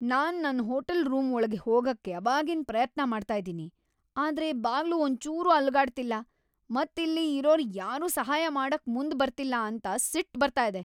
ನಾನ್ ನನ್ hotel room ಒಳ್ಗೆ ಹೋಗಕ್ ಅವಾಗಿಂದ್ ಪ್ರಯತ್ನ ಮಾಡ್ತಾ ಇದ್ದೀನಿ, ಆದ್ರೆ ಬಾಗ್ಲು ಒಂದ್ ಚೂರೂ ಅಲುಗಾಡ್ತಿಲ್ಲ, ಮತ್ ಇಲ್ಲಿ ಇರೋರ್ ಯಾರೂ ಸಹಾಯ ಮಾಡಕ್ ಮುಂದ್ ಬರ್ತಿಲ್ಲ ಅಂತ ಸಿಟ್ ಬರ್ತಾ ಇದೆ.